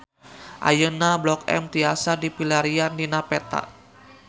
Ayeuna Blok M tiasa dipilarian dina peta